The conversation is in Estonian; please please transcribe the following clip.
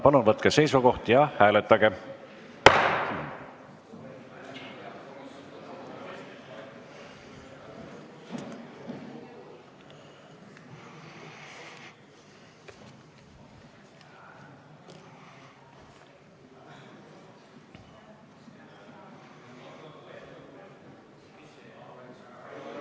Palun võtke seisukoht ja hääletage!